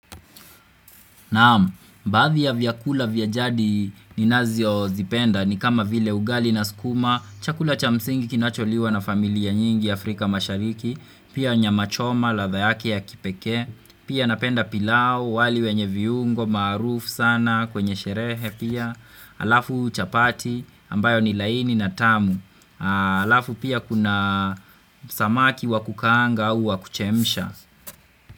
Naam, baadhi ya vyakula vya jadi ninazozipenda ni kama vile ugali na sukuma, chakula cha msingi kinacholiwa na familia nyingi Afrika mashariki, pia nyama choma ladha yake ya kipekee, pia napenda pilau, wali wenye viungo, maarufu sana kwenye sherehe pia, alafu chapati ambayo ni laini na tamu, alafu pia kuna samaki wa kukaanga au wa kuchemsha.